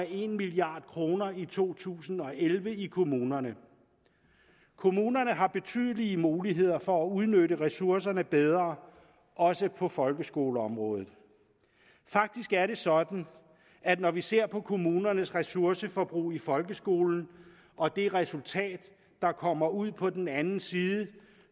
en milliard kroner i to tusind og elleve i kommunerne kommunerne har betydelige muligheder for at udnytte ressourcerne bedre også på folkeskoleområdet faktisk er det sådan at når vi ser på kommunernes ressourceforbrug i folkeskolen og det resultat der kommer ud på den anden side